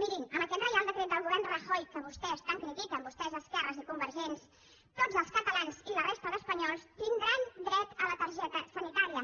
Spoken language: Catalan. mirin amb aquest reial decret del govern rajoy que vostès tant critiquen vostès esquerres i convergents tots els catalans i la resta d’espanyols tindran dret a la targeta sanitària